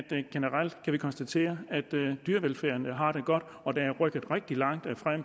det vi konstatere at dyrevelfærden har det godt og at der er rykket rigtig meget